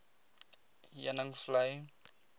heuningvlei